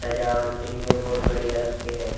सजावट के लिए बहुत बढ़िया लगते हैं।